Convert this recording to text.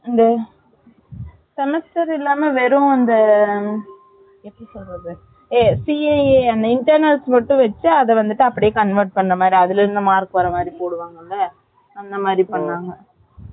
semester இல்லாம வெறும் அந்த எப்படி சொல்றது CAA அந்த internals மட்டும் வச்சி அத வந்து அப்படியே convert பண்ற மாதிரி அதுல இருந்து mark போடுவாங்கல அப்படி வச்சாங்க